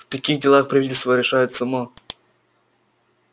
в таких делах правительство решает само